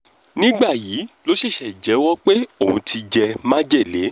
nígbàyí ló ṣẹ̀ṣẹ̀ jẹ́wọ́ pé òun ti jẹ́ májèlé